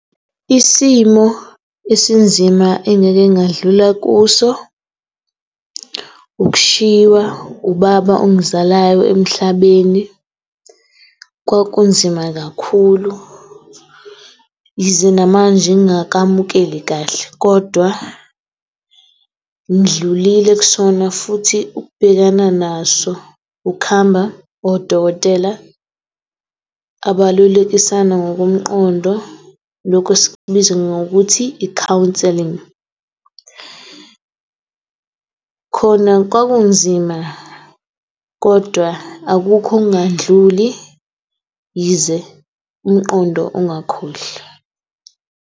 Isimo esinzima engike ngadlula kuso, ukushiywa ubaba ongizalayo emhlabeni. Kwakunzima kakhulu, yize namanje ngingakamukeli kahle kodwa ngidlulile kusona futhi ukubhekana naso ukuhamba odokotela abalulekisana ngokomqondo, lokhu sikubiza ngokuthi i-counselling. Khona kwakunzima kodwa akukho okungakadluli, yize umqondo ungakhohlwa.